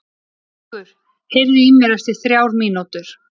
Gaukur, heyrðu í mér eftir þrjár mínútur.